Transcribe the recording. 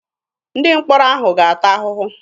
Ndị mkpọrọ ahụ ga-ata ahụhụ.